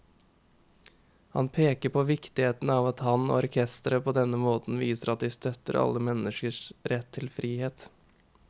Han peker på viktigheten av at han og orkesteret på denne måten viser at de støtter alle menneskers rett til frihet.